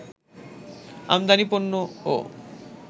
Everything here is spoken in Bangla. আমাদানি পণ্যও